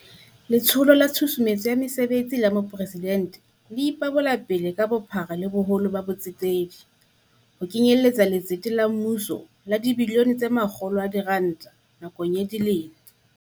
Letsholo la Tshusumetso ya Mesebetsi ya Mopresidente e ipabolapele ka bophara le boholo ba bo tsetedi, ho kenyeletsa letsete la mmuso la R100 bilione nakong ya dilemo